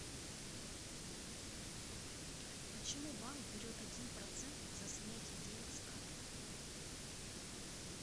почему банк берет один процент за снятие денег с карты